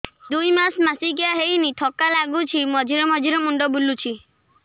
ଦୁଇ ମାସ ମାସିକିଆ ହେଇନି ଥକା ଲାଗୁଚି ମଝିରେ ମଝିରେ ମୁଣ୍ଡ ବୁଲୁଛି